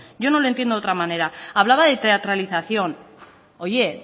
yo no lo entiendo de otra manera hablaba de teatralización oye